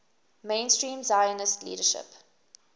mainstream zionist leadership